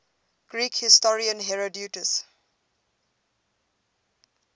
greek historian herodotus